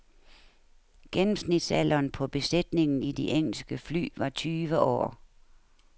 Gennemsnitsalderen på besætningen i de engelske fly var tyve år.